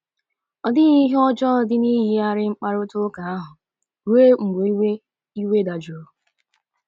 Ọ dịghị ihe ọjọọ dị n’iyigharị mkparịta ụka ahụ ruo mgbe iwe iwe dajụrụ.